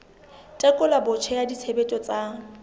tekolo botjha ya tshebetso tsa